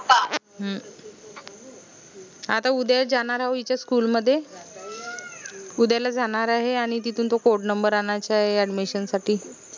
हम्म आता उद्या जानार हाओ इच्या school मध्ये उदयाला जानार आहे आनि तिथून तो codenumber आनायचा आहे admission साठी